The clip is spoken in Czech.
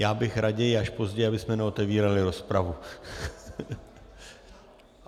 Já bych raději až později, abychom neotevírali rozpravu.